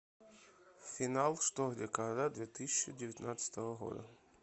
финал что где когда две тысячи девятнадцатого года